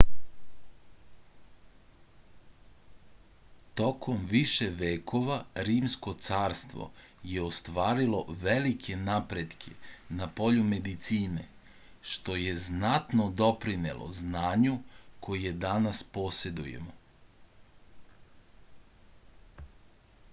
tokom više vekova rimsko carstvo je ostvarilo velike napretke na polju medicine što je znatno doprinelo znanju koje danas posedujemo